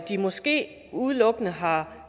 de måske udelukkende har